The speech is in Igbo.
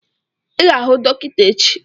Ị ga-ahụ dọkịta echi